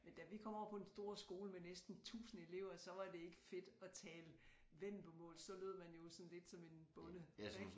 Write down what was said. Men da vi kom over på den store skole med næsten 1000 elever så var det ikke fedt at tale vendelbomål så lød man jo sådan lidt som en bonde ik